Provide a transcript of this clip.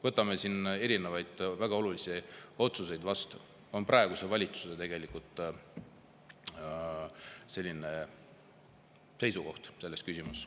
Võtame ikkagi väga olulisi otsuseid vastu, on praeguse valitsuse seisukoht selles küsimuses.